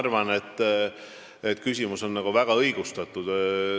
Ma arvan, et see küsimus on väga õigustatud.